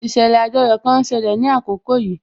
Ìṣẹ̀lẹ̀ àjoyò kan ń ṣẹlẹ̀ ní àkókò yìí